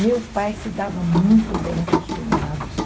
Meu pai se dava muito bem com os cunhados.